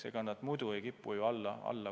Ega need muidu ei kipu kuidagi alla minema.